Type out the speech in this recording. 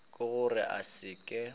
ke gore a se ke